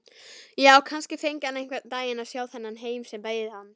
Já, kannski fengi hann einhvern daginn að sjá þennan heim sem beið hans.